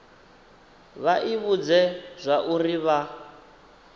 vha i vhudze zwauri vha